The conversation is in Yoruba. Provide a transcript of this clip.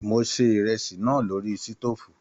Mo ṣe ìrẹsì náà lórí sitofu.